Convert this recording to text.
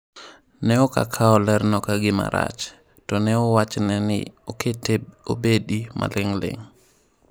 Ne ok okawo lerno ka gima rach, to ne owachne ni okete obedi maling'ling'.